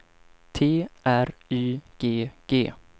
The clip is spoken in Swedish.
T R Y G G